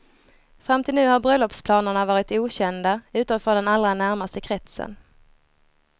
Fram till nu har bröllopsplanerna varit okända utom för den allra närmaste kretsen.